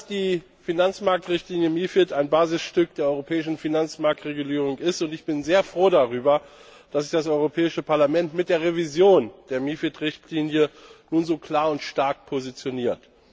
Die Finanzmarktrichtlinie MiFID ist ein Basisstück der europäischen Finanzmarktregulierung, und ich bin sehr froh darüber, dass sich das Europäische Parlament mit der Revision der MiFID Richtlinie nun so klar und stark positioniert.